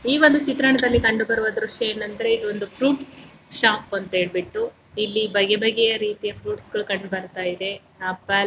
ಈ ಒಂದು ಚಿತ್ರಣದಲ್ಲಿ ಕಂಡುಬರುವ ದೃಶ್ಯ ಏನೆಂದರೆ ಇದು ಒಂದು ಫ್ರೂಟ್ಸ್ ಶಾಪ್ ಅಂತ ಹೇಳ್ಬಿಟ್ಟು ಇಲ್ಲಿ ಬಗೆ ಬಗೆಯ ರೀತಿಯ ಫ್ರೂಟ್ಸ್ ಗಳು ಕಂಡುಬರ್ತಾ ಇದೆ. ಆಪಲ್ --